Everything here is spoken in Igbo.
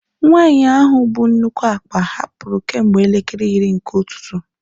Nwanyị ahụ bu nnukwu akpa hapụrụ kemgbe elekere iri nke ụtụtụ.